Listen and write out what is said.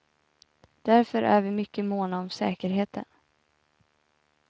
Därför är vi mycket måna om säkerheten.